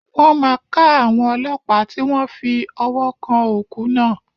Wọn má ka àwọn ọlọpa ti wọn fi ọwọ kan òkú náà.